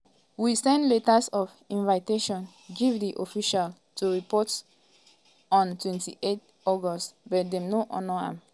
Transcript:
"we send letters of invitation give di officials to report on 28th august but dem no honour am.